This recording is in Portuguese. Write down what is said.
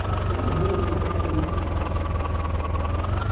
Você imagina cinquenta anos atrás.